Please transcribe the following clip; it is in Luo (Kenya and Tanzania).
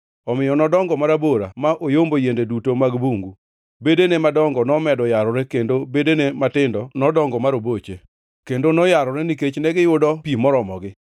Omiyo nodongo marabora ma oyombo yiende duto mag bungu; bedene madongo nomedo yarore kendo bedene matindo nodongo ma roboche, kendo noyarore nikech negiyudo pi moromogi.